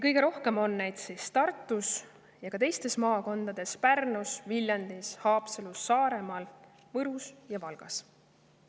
Kõige rohkem on neid Tartus, aga osa ka teistes maakondades: Pärnus, Viljandis, Haapsalus, Saaremaal, Võrus ja Valgas.